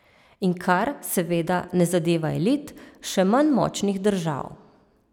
In kar, seveda, ne zadeva elit, še manj močnih držav.